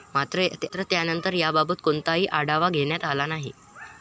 मात्र त्यानंतर याबाबत कोणताही आढावा घेण्यात आला नाही.